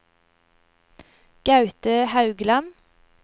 Gaute Haugland